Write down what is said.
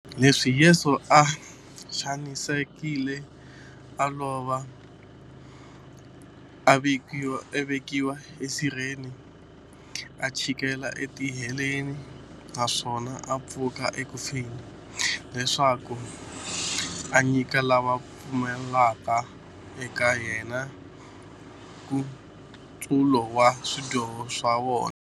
Leswaku Yesu u xanisekile, a lova, a vekiwa esirheni, a chikela etiheleni, naswona a pfuka eku feni, leswaku a nyika lava va pfumelaka eka yena, nkutsulo wa swidyoho swa vona.